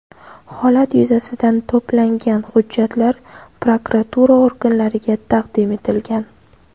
Holat yuzasidan to‘plangan hujjatlar prokuratura organlariga taqdim etilgan.